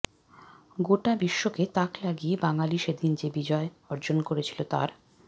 গোটা বিশ্বকে তাক লাগিয়ে বাঙালি সেদিন যে বিজয় অর্জন করেছিল তার